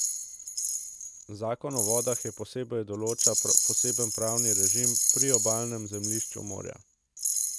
Zakon o vodah posebej določa poseben pravni režim priobalnemu zemljišču morja.